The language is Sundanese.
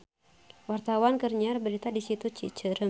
Wartawan keur nyiar berita di Situ Cicerem